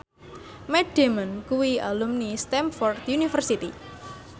Matt Damon kuwi alumni Stamford University